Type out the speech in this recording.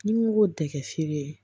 Ni n ko ko tɛ kɛ feere ye